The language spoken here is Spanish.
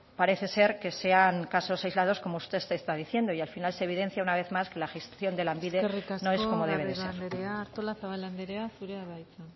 parece ser que sean casos aislados como usted está diciendo y al final se evidencia una vez más que la gestión de lanbide no es como debe ser eskerrik asko garrido andrea artolazabal andrea zurea da hitza